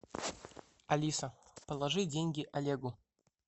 алиса положи деньги олегу